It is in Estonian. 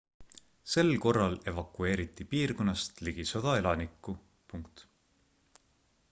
sel korral evakueeriti piirkonnast ligi 100 elanikku